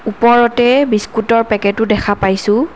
ওপৰতে বিস্কুটৰ পেকেটো দেখা পাইছোঁ।